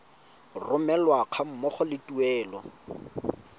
romelwa ga mmogo le tuelo